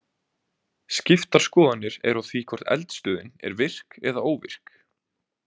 Skiptar skoðanir eru á því hvort eldstöðin er virk eða óvirk.